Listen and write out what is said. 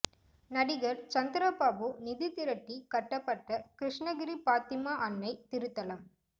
நடிகர் சந்திரபாபு நிதி திரட்டி கட்டப்பட்ட கிருஷ்ணகிரி பாத்திமா அன்னை திருத்தலம்